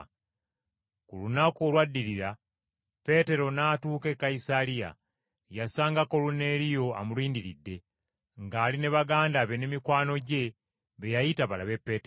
Ku lunaku olwaddirira Peetero n’atuuka e Kayisaliya. Yasanga Koluneeriyo amulindiridde, ng’ali ne baganda be ne mikwano gye be yayita balabe Peetero.